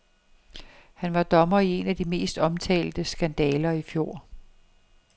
Han var dommer i en af de mest omtalte skandaler i fjor.